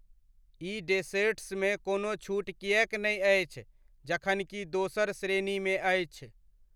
ई डेसेर्ट्समे कोनो छूट किएक नहि अछि जबकि दोसर श्रेणीमे अछि।